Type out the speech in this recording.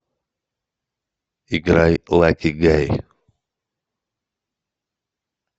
играй лаки гай